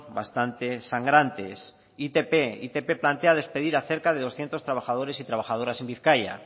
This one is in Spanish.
bastante sangrantes itp plantea despedir a cerca de doscientos trabajadores y trabajadoras en bizkaia